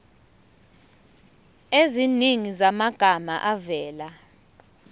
eziningi zamagama avela